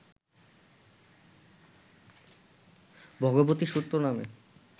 ভগবতী সূত্র নামে